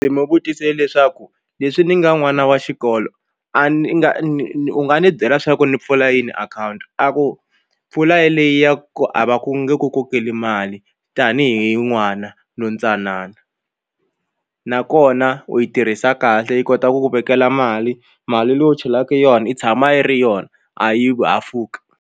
Ndzi n'wi vutise leswaku leswi ni nga n'wana wa xikolo a ni nga u nga ni byela swa ku ni pfula yini akhawunti a ku pfula yeleyo ya ku a va ku nge ku kokela mali tanihi n'wana lontsanana nakona u yi tirhisa kahle yi kota ku ku vekela mali mali leyi u chelaka yona yi tshama yi ri yona a yi hafuki.